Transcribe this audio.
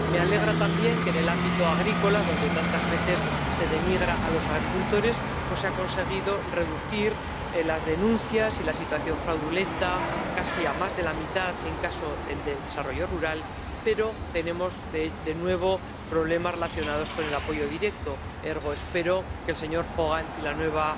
Me alegra también que en el ámbito agrícola —cuando tantas veces se denigra a los agricultores— se haya conseguido reducir las denuncias y la situación fraudulenta casi a más de la mitad en el ámbito del desarrollo rural, pero tenemos de nuevo problemas relacionados con el apoyo directo, ergo espero que el señor Hogan y la nueva